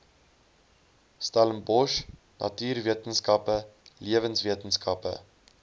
stellenbosch natuurwetenskappe lewenswetenskappe